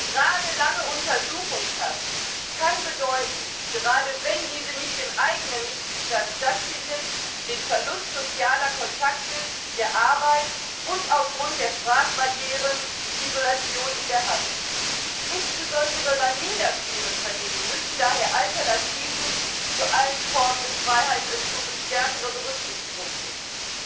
Gerade lange Untersuchungshaft kann insbesondere, wenn diese nicht im eigenen Mitgliedstaat stattfindet den Verlust sozialer Kontakte, der Arbeit und aufgrund von Sprachbarrieren Isolation in der Haft bedeuten. Insbesondere bei minder schweren Vergehen müssen daher Alternativen zu allen Formen des Freiheitsentzuges stärkere Berücksichtigung finden.